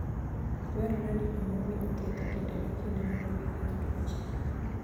Dwarore ni omi winy thieth kinde ka kinde mondo gigeng' tuoche.